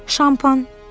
Şampan, dedi.